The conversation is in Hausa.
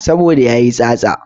Saboda yayi tsatsa